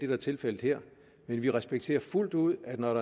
er tilfældet her men vi respekterer fuldt ud at når